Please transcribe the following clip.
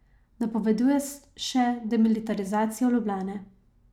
Napoveduje še demilitarizacijo Ljubljane.